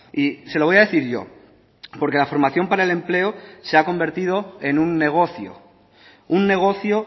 y se lo voy a decir yo porque la formación para el empleo se ha convertido en un negocio un negocio